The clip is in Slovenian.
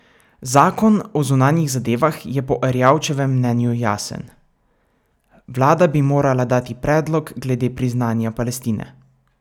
Zakon o zunanjih zadevah je po Erjavčevem mnenju jasen: "Vlada bi morala dati predlog glede priznanja Palestine.